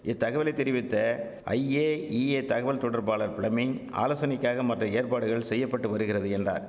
இத்தகவலை தெரிவித்த ஐஏஇஏ தகவல் தொடர்பாளர் பிளமிங் ஆலோசனைக்காக மற்ற ஏற்பாடுகள் செய்ய பட்டு வருகிறது என்றார்